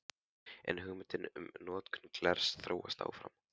En hugmyndin um notkun glers þróast áfram.